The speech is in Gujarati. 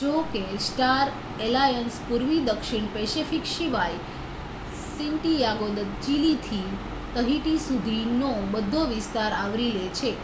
જો કે સ્ટાર એલાયન્સ પૂર્વી દક્ષિણ પેસિફિક સિવાય સેન્ટિયાગો દ ચિલીથી તહિટી સુધીનો બધો વિસ્તાર આવરી લે છે